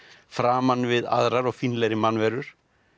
framan við aðrar og fínlegri mannverur